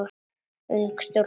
Ung stúlka óskar.